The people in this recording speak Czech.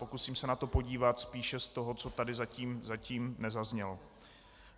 Pokusím se na to podívat spíše z toho, co tady zatím nezaznělo.